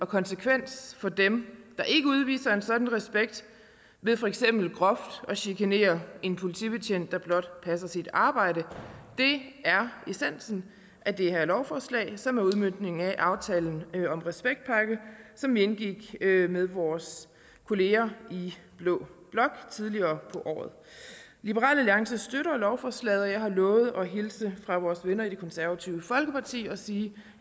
konsekvens for dem der ikke udviser en sådan respekt ved for eksempel groft at chikanere en politibetjent der blot passer sit arbejde det er essensen af det her lovforslag som er udmøntningen af aftalen om en respektpakke som vi indgik med vores kolleger i blå blok tidligere på året liberal alliance støtter lovforslaget og jeg har lovet at hilse fra vores venner i det konservative folkeparti og sige